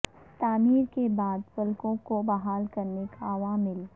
تعمیر کے بعد پلکوں کو بحال کرنے کے عوامل